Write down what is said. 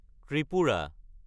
Tripura